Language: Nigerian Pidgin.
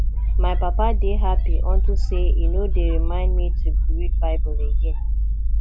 my papa dey happy unto say e no dey remind me to read bible again